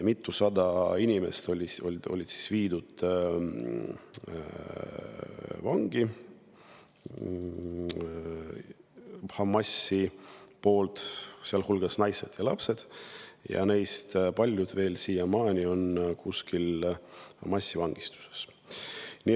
Hamas viis vangi mitusada inimest, sealhulgas naised ja lapsed, ja neist paljud on veel siiamaani kuskil massivangistuses.